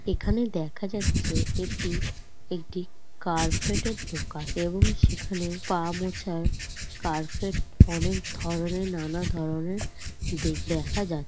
এখানে দেখা যাচ্ছে এটি একটি কার্পেটের দোকান এবং সেখানে পা মোছার কার্পেট অনেক ধরনের নানা ধরনের দে-দেখা যা--